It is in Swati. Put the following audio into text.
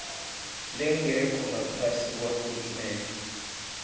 lengekho ngaphasi kwahulumende